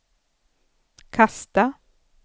kasta